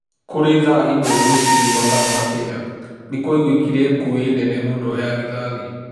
Kũrĩ thaa ĩmwe rũcinĩ mathaa ma Kenya , nĩ kwaiguĩkĩre ngũĩ nene mũno ya rithathi.